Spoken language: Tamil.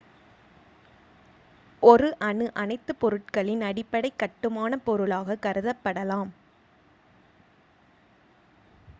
ஒருone அணு அனைத்துப் பொருட்களின் அடிப்படைக் கட்டுமானப் பொருளாக கருதப்படலாம்